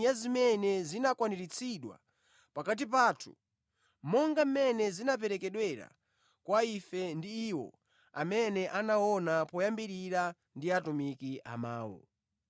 monga mmene zinaperekedwera kwa ife ndi iwo amene anaona poyambirira ndi atumiki a mawu.